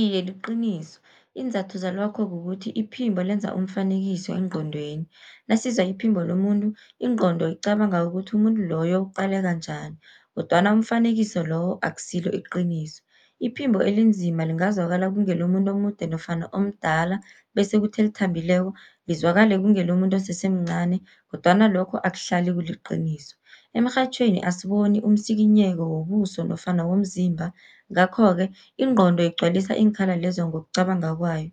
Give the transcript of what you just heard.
Iye, liqiniso iinzathu zalokho kukuthi iphimbo lenza umfanekiso engqondweni, nasizwa iphimbo lomuntu ingqondo icabanga ukuthi umuntu loyo uqaleka njani kodwana umfanekiso lowo akusilo iqiniso. Iphimbo elinzima lingazwakala kungelomuntu omude nofana omdala, bese kuthi elithambileko lizwakale kungelomuntu osesemncani kodwana lokho akuhlali kuliqiniso. Emrhatjhweni asiboni umsikinyeko wobuso nofana womzimba, ngakho-ke ingqondo igcwalisa iinkhala lezo ngokucabanga kwayo.